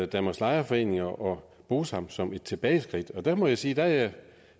danmarks lejerforeninger og bosam som et tilbageskridt der må jeg sige at